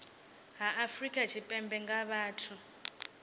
ha afrika tshipembe nga vhathu